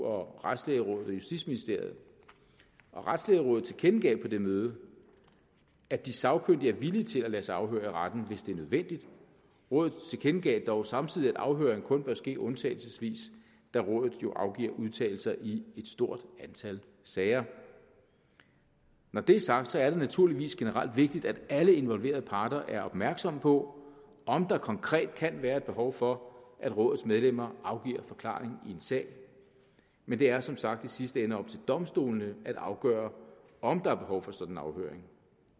og retslægerådet og justitsministeriet retslægerådet tilkendegav på det møde at de sagkyndige er villige til at lade sig afhøre i retten hvis det er nødvendigt rådet tilkendegav dog samtidig at afhøring kun bør ske undtagelsesvis da rådet jo afgiver udtalelser i et stort antal sager når det er sagt er det naturligvis generelt vigtigt at alle involverede parter er opmærksomme på om der konkret kan være et behov for at rådets medlemmer afgiver forklaring i en sag men det er som sagt i sidste ende op til domstolene at afgøre om der er behov for sådan en afhøring